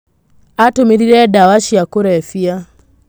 Atũmĩrire dawa cia kurebia.